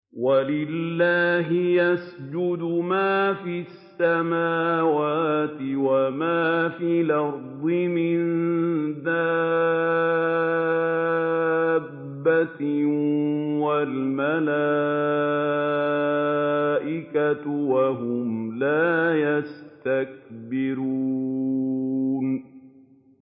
وَلِلَّهِ يَسْجُدُ مَا فِي السَّمَاوَاتِ وَمَا فِي الْأَرْضِ مِن دَابَّةٍ وَالْمَلَائِكَةُ وَهُمْ لَا يَسْتَكْبِرُونَ